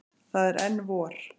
Það er enn vor.